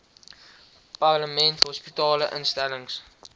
parlement hospitale instellings